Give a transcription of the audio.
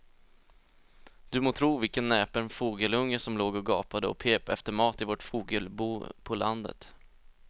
Du må tro vilken näpen fågelunge som låg och gapade och pep efter mat i vårt fågelbo på landet.